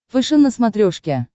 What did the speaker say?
фэшен на смотрешке